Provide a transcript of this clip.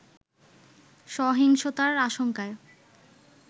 সহিংসতার আশংকায়